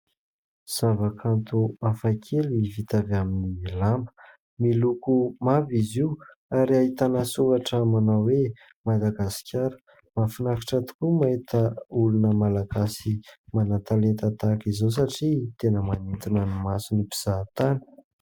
Zavakanto hafakely vita avy amin'ny lamba. Miloko mavo izy io, ary ahitana soratra manao hoe Madagasikara. Mahafinaritra tokoa ny mahita olona malagasy manan-talenta tahaka izao satria tena manintona ny mason'ny mpizahantany.